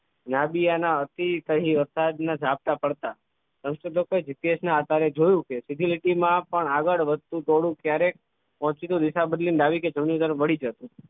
નાદિયા ના હસી થઈ વરસાદ ના જાપટા પડતાં સંશોધકો એ GPS ના આધારે જોયું કે સીધી લીટી માં પણ આગળ વધતું ટોળું ક્યારેક પહોંચતું રેખા બદલી ડાબી કે જમણી તરફ વળી જતું